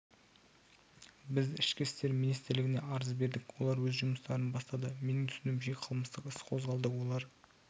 біз ішкі істер министрлігіне арыз бердік олар өз жұмыстарын бастады менің түсінуімше қылмыстық іс қозғалды олар